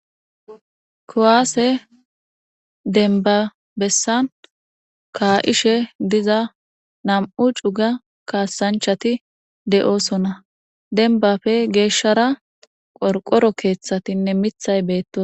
Kowaase denba bessan kaa7ishe diza nam7u cuga kaasanchati de7oosona denbafe geeshshara qorqoro keeththatinne mithay beettos.